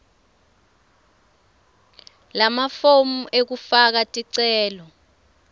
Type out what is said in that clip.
lamafomu ekufaka ticelo